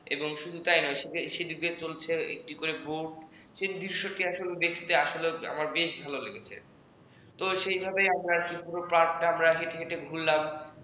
এবং শুধু তাই নয় সেদিক দিয়ে চলছে একটি করে boat সেই দৃশ্যটি দেখতে আসলে আমার খুব ভালো লেগেছে তো সেভাবে আমরা পুরো park টা হেঁটে হেঁটে ঘুরলাম